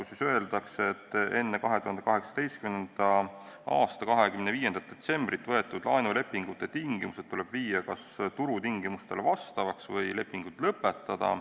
Seal öeldakse, et enne 2018. aasta 25. detsembrit võetud laenulepingute tingimused tuleb muuta kas turutingimustele vastavaks või lepingud lõpetada.